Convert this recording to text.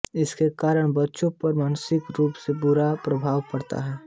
इसके कारण बच्चों पर मानसिक रूप से बुरा प्रभाव पड़ता है